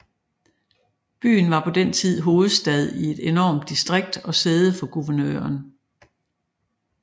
Byen var på den tid hovedstad i et enormt distrikt og sæde for guvernøren